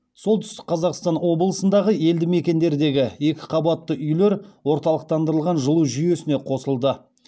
солтүстік қазақстан облысындағы елді мекендердегі екі қабатты үйлер орталықтандырылған жылу жүйесіне қосылады